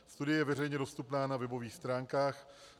Studie je veřejně dostupná na webových stránkách.